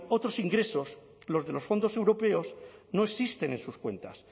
otros ingresos los de los fondos europeos no existen en sus cuentas